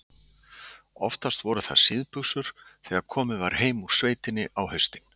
Oftast voru það síðbuxur þegar komið var heim úr sveitinni á haustin.